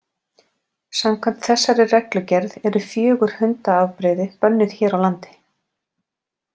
Samkvæmt þessari reglugerð eru fjögur hundaafbrigði bönnuð hér á landi.